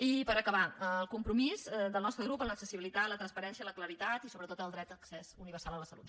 i per acabar el compromís del nostre grup amb l’accessibilitat la transparència la claredat i sobretot el dret d’accés universal a la salut